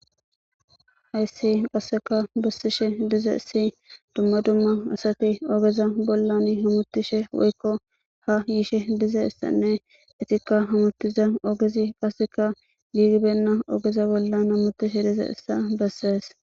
Hayssi qasseka bassishe dize issi dumma dumma asati ogeza bollan himutishe woykko ha yiishe dize issanne itikka hamuttiza ogezi qasseka giigibenna ogeza bollan hamutishe dize issa bessees.